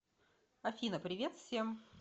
афина привет всем